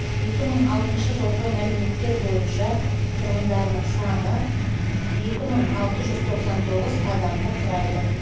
екі мың алтыншы жылғы мәліметтер бойынша тұрғындарының саны екі мың алты жүз тоқсан тоғыз адамды құрайды